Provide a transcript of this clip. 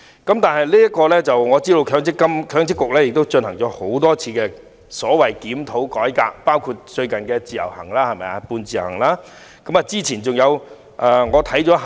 我知道強制性公積金計劃管理局進行了多次所謂的檢討和改革，包括最近的"半自由行"。